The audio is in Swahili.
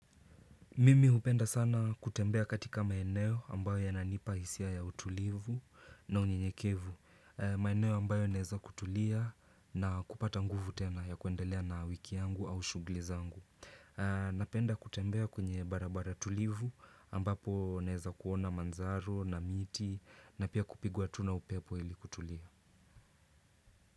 Mimi hupenda sana kutembea katika maeneo ambayo yananipa isia ya utulivu na unyenyekevu. Maeneo ambayo naeza kutulia na kupata nguvu tena ya kuendelea na wiki yangu au shughuli zangu. Napenda kutembea kwenye barabara tulivu ambapo naeza kuona mandhari na miti na pia kupigua tuna upepo ili kutulia.